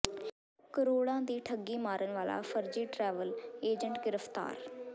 ਕਰੋੜਾਂ ਦੀ ਠੱਗੀ ਮਾਰਨ ਵਾਲਾ ਫਰਜ਼ੀ ਟਰੈਵਲ ਏਜੰਟ ਗ੍ਰਿਫ਼ਤਾਰ